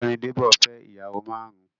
Ọ̀gbẹ́ni Débò fẹ́ ìyàwó márùn-ún.